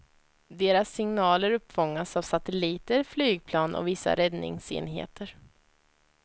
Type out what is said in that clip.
Deras signaler uppfångas av satelliter, flygplan och vissa räddningsenheter.